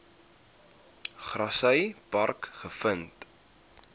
grassy park gevind